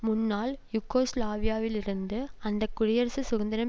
முன்னாள் யூகோஸ்லாவியாவிலிருந்து அந்த குடியரசு சுதந்திரம்